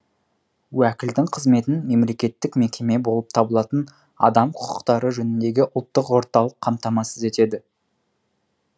уәкілдің қызметін мемлекеттік мекеме болып табылатын адам қүқықтары жөніндегі үлттық орталық қамтамасыз етеді